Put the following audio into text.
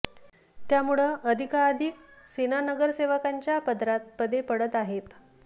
त्यामुळं अधिकाधिक सेना नगरसेवकांच्या पदरात पदे पडत आहेत